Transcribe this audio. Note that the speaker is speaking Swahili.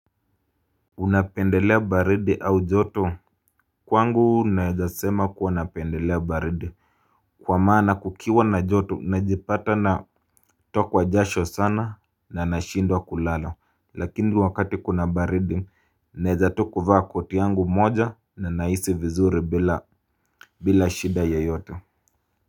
Unapendelea baridi au joto? Kwangu naeza sema kuwa napendelea baridi. Kwa maana kukiwa na joto najipata na kutokwa jasho sana na nashindwa kulala. Lakini wakati kuna baridi naweza tu kuvaa koti yangu moja na nahisi vizuri bila shida yoyote.